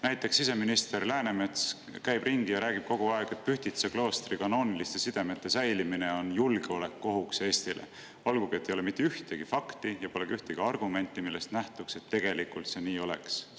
Näiteks siseminister Läänemets käib ringi ja räägib kogu aeg, et Pühtitsa kloostri kanooniliste sidemete säilimine on julgeolekuohuks Eestile, olgugi et ei ole mitte ühtegi fakti ja pole ka ühtegi argumenti, millest nähtuks, et see tegelikult nii oleks.